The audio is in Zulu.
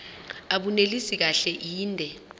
abunelisi kahle inde